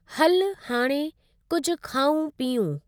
हलु, हाणे, कुझु खाऊं पियूं।